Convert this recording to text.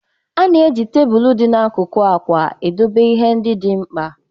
A na-eji tebụl dị n'akụkụ akwa idobe ihe ndị dị mkpa